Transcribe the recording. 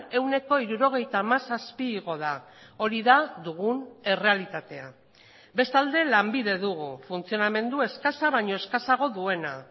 ehuneko hirurogeita hamazazpi igo da hori da dugun errealitatea bestalde lanbide dugu funtzionamendu eskasa baino eskasago duena